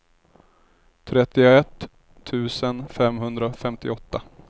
trettioett tusen femhundrafemtioåtta